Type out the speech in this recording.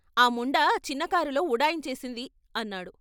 ఆ ముండ చిన్న కారులో ఉడాయించేసింది అన్నాడు.